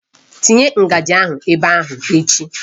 Tinye ngaji ahụ ebe ahụ echi!